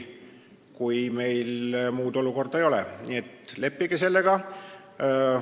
Nii et leppige sellega.